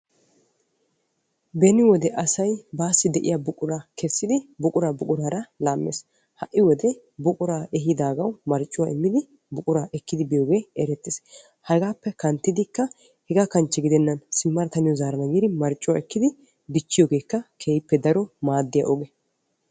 Beni wode asay buqura buqurara laames ha'i wode buqura ehiidagawu marccuwa immiddi ekkiddi beetes. Hegaa kanchche gidenna simadda zaaradda giiddi marccuwa ekkiyoogekka maaddiya ogee.